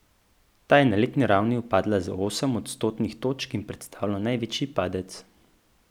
Ta je na letni ravni upadla za osem odstotnih točk in predstavlja največji padec.